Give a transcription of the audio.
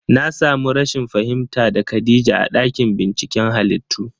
Na samu rashin fahimta da khadija a ɗakin binciken halittu